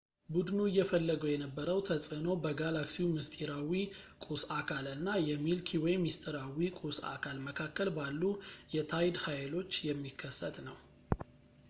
ቡድኑ እየፈለገው የነበረው ተፅዕኖ በጋላክሲው ምስጢራዊ ቁስ አካል እና የሚልኪ ዌይ ምስጢራዊ ቁስ አካል መካከል ባሉ የታይድ ኃይሎች የሚከሰት ነው